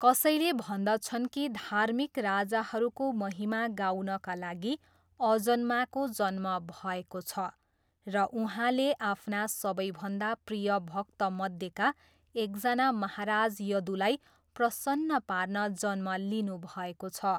कसैले भन्दछन् कि धार्मिक राजाहरूको महिमा गाउनका लागि अजन्माको जन्म भएको छ र उहाँले आफ्ना सबैभन्दा प्रिय भक्तमध्येका एकजना महाराज यदूलाई प्रसन्न पार्न जन्म लिनुभएको छ।